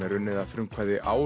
er unnið að frumkvæði